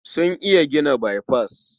Sun iya gina baifas.